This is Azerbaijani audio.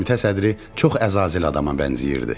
Komitə sədri çox əzazil adama bənzəyirdi.